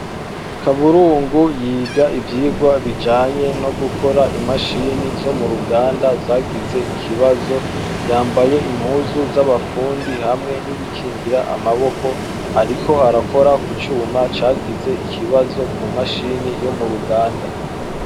Kaburungu yiga ivyigwa bijanye nogukora imashine zo m'uruganda zagize ikibazo, yambaye impuzu zabafundi hamwe n'ibikingira amaboko ariko arakora ku cuma cagize ikibazo kumashine yo m'uruganda.